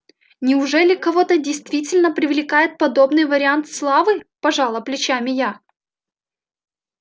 неужели кого-то действительно привлекает подобный вариант славы пожала плечами я